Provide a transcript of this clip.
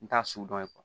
N t'a su dɔn